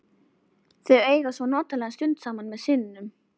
Þá eiga þau svo notalega stund saman með syninum.